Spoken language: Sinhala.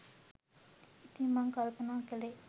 ඉතින් මං කල්පනා කළේ